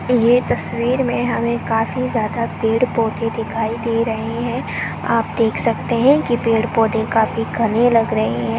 ये तसवीर में हमे काफी ज्यादा पेड़-पौधे दिखाई दे रहे हैं आप देख सकते है की पेड़-पौधे काफी घने लग रहे हैं।